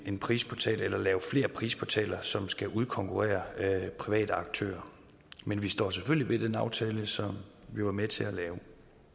en prisportal eller lave flere prisportaler som skal udkonkurrere private aktører men vi står selvfølgelig ved den aftale som vi var med til at lave